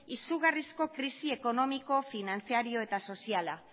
izugarrizko krisi ekonomiko finantziario eta soziala